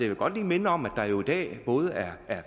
vil godt lige minde om at der jo i dag både er